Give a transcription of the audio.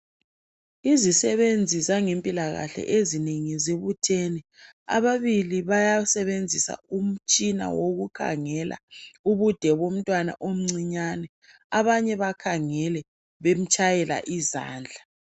Izisebenzi zangempilakahle ezinengi zibuthene, ababili bayasebenzisa umtshina wokukhangela ubude bomntwana omncinyane abanye bakhangele bemtshayela izandla.